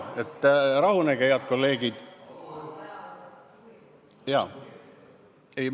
Rahunege, head kolleegid!